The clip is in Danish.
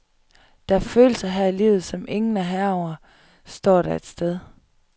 Der er følelser her i livet, som ingen er herre over, står der et sted.